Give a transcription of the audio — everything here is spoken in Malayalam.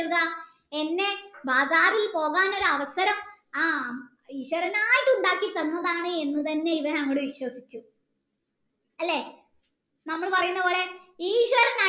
തരുക എന്നെ ബാഗാറിൽ പോകാൻ ഒരു അവസരം ആഹ് ഈശ്വരനായിട്ട് ഉണ്ടാക്കി തന്നതെന്ന് ഇവാൻ അങ്ങട് വിശ്വസിച്ചു അല്ലെ നമ്മൾ പറയുന്നത് പോലെ ഈശ്വരൻ